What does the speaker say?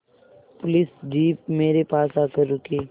police jeep मेरे पास आकर रुकी